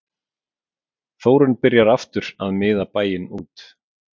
Þórunn byrjar aftur að miða bæinn út